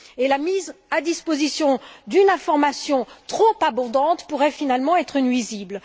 la mise à disposition d'une information trop abondante pourrait finalement être nuisible.